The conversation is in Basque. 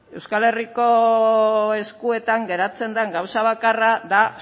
euskal herriko eskuetan geratzen den gauza bakarra da